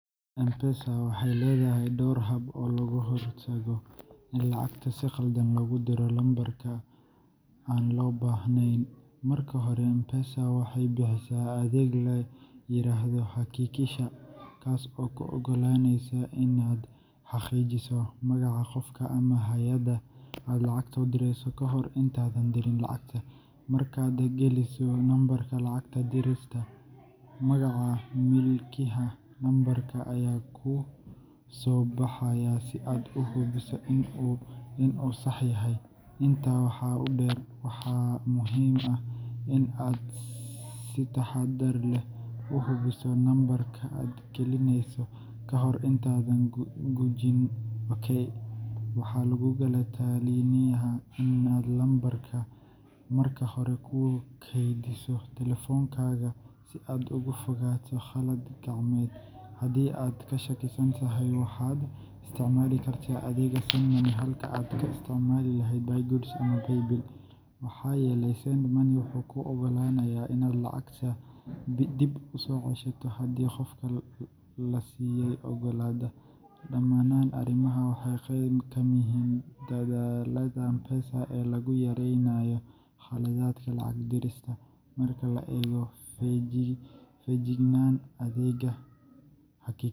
M-Pesa waxay leedahay dhowr hab oo looga hortago in lacag si khaldan loogu diro lambarka aan loo baahnayn. Marka hore, M-Pesa waxay bixisaa adeeg la yiraahdo Hakikisha, kaas oo kuu oggolaanaya inaad xaqiijiso magaca qofka ama hay’adda aad lacagta u direyso ka hor intaadan dirin lacagta. Markaad geliso lambarka lacag dirista, magaca milkiilaha lambarka ayaa kuu soo baxaya si aad u hubiso in uu sax yahay. Intaa waxaa dheer, waxaa muhiim ah in aad si taxadar leh u hubiso lambarka aad gelinayso ka hor intaadan gujin OK. Waxaa laguugula talinayaa in aad lambarka marka hore ku keydiso telefoonkaaga si aad uga fogaato qalad gacmeed. Haddii aad ka shakisan tahay, waxaad isticmaali kartaa adeegga Send Money halkii aad ka isticmaali lahayd Buy Goods ama Paybill, maxaa yeelay Send Money wuxuu kuu oggolaanayaa inaad lacagta dib u soo ceshato haddii qofka la siiyay oggolaado. Dhammaan arrimahan waxay qeyb ka yihiin dadaallada M-Pesa ee lagu yareynayo khaladaadka lacag dirista. Marka la eego, feejignaan, adeegga Haki.